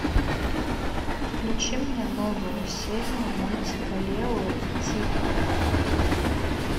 включи мне новую серию мультика лео и тик